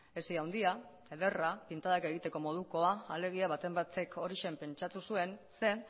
hesi handia ederra pintadak egiteko modukoa alegia baten batek horixe pentsatu zuen zeren